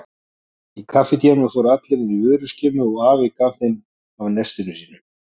Í kaffitímanum fóru allir inn í vöruskemmu og afi gaf þeim af nestinu sínu.